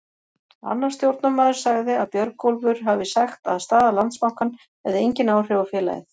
Annar stjórnarmaður sagði að Björgólfur hafi sagt að staða Landsbankans hefði engin áhrif á félagið.